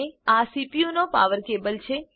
આ સીપીયુનો power cable છે